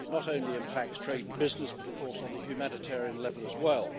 It not only impacts trade and business, but of course on the humanitarian level as well.